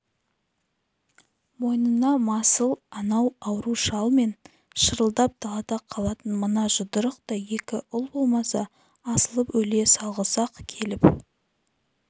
мойнына масыл анау ауру шал мен шырылдап далада қалатын мына жұдырықтай екі ұл болмаса асылып өле салғысы-ақ келіп